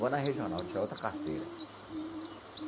Vou na Regional, tirar outra carteira.